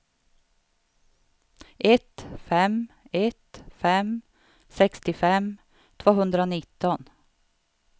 ett fem ett fem sextiofem tvåhundranitton